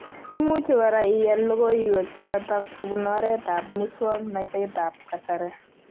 Imuchi kora iyal logoiwek chotok kobun oretab muswoknotetab kasari